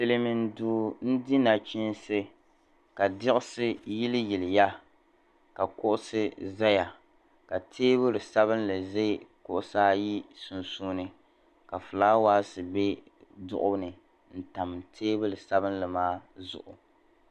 Silimiin duu n-di nachiinsi ka diɣisi yiliyiliya ka kuɣisi zaya ka teebuli sabilinli za kuɣisi ayi sunsuuni ka fulaawaasi be duɣu ni n-tam teebuli sabilinli maa zuɣu.